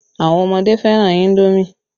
Àwọn ọmọdé fẹ́ràn indomi